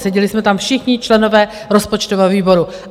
Seděli jsme tam všichni členové rozpočtového výboru.